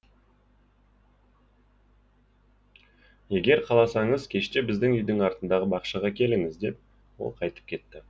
егер қаласаңыз кеште біздің үйдің артындағы бақшаға келіңіз деп ол қайтып кетті